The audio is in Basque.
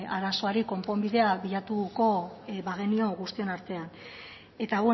arazoari konponbidea bilatuko bagenio guztion artean eta